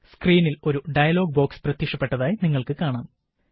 സ്ക്രീനില് ഒരു dialog box പ്രത്യക്ഷപ്പെട്ടതായി നിങ്ങള്ക്ക് കാണാം